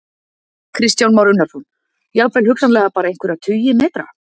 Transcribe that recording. Kristján Már Unnarsson: Jafnvel hugsanlega bara einhverjir tugir metra?